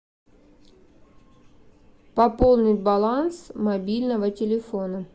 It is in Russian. пополнить баланс мобильного телефона